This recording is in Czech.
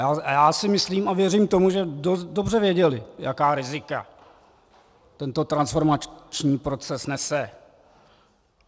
A já si myslím a věřím tomu, že dobře věděli, jaká rizika tento transformační proces nese.